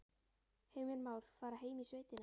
Heimir Már: Fara heim í sveitina?